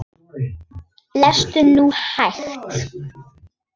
Lestu nú hægt!